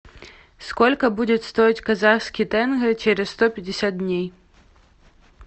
сколько будет стоить казахский тенге через сто пятьдесят дней